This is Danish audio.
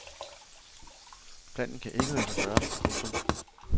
Planen kan ikke lade sig gøre. punktum